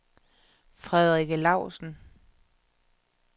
Frederikke Lausen